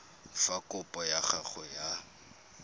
fa kopo ya gago ya